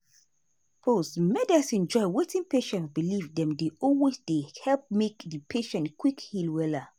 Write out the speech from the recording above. pause-- medicine join wetin patient believe dem dey always dey help make di patient quick heal wella.